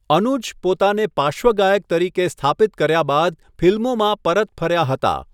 અનુજ પોતાને પાર્શ્વગાયક તરીકે સ્થાપિત કર્યા બાદ ફિલ્મોમાં પરત ફર્યા હતા.